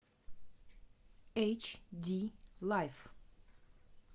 эйч ди лайф